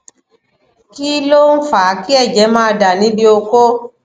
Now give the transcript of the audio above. kí ló ń fa ki eje ma da nibi oko